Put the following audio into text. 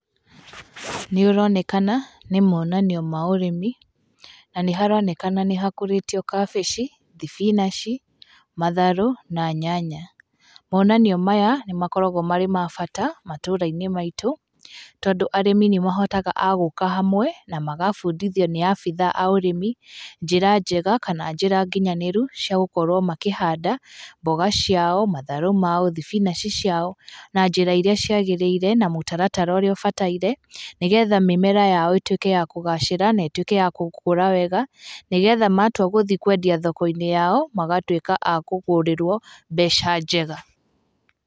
Nĩ ũronekana nĩ monanio ma ũrĩmi, na nĩ haronekana nĩ hakũrĩtio kabici, thibinaci, matharũ, na nyanya. Monanio maya nĩ makoragwo marĩ ma bata matũũra-inĩ maitũ, tondũ arĩmi nĩ mahotaga agũka hamwe, na magabundithio nĩ abithaa a ũrĩmi, njĩra njega kana njĩra nginyanĩru ciagũkorwo makĩhanda mboga ciao, matharũ mao, thibinaci ciao na njĩra iria ciagĩrĩire, na mũtaratara ũrĩa ũbataire, nĩgetha mĩmera yao ĩtuĩke ya kũgacĩra na ĩtuĩke ya gũkũra wega, nĩgetha matua gũthiĩ kwendia thoko-inĩ yao, magatuĩka a kũgũrĩrwo mbeca njega.